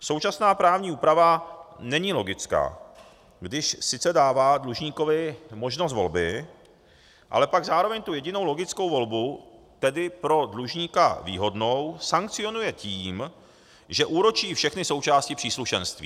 Současná právní úprava není logická, když sice dává dlužníkovi možnost volby, ale pak zároveň tu jedinou logickou volbu, tedy pro dlužníka výhodnou, sankcionuje tím, že úročí všechny součásti příslušenství.